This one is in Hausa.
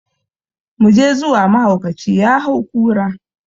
Muje zuwa mahaukaci ya hau kura!